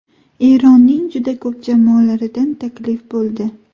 Eronning juda ko‘p jamoalaridan taklif bo‘ldi.